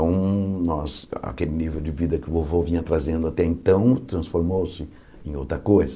Então, nós aquele nível de vida que o vovô vinha trazendo até então transformou-se em outra coisa.